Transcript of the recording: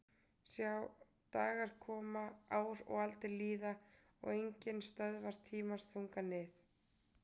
Sjá dagar koma ár og aldir líða og enginn stöðvar tímans þunga nið